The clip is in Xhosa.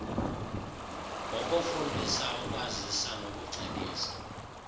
ngokufundisa ukwazisa nokucebisa